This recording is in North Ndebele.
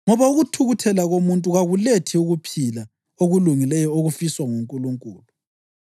ngoba ukuthukuthela komuntu kakulethi ukuphila okulungileyo okufiswa nguNkulunkulu.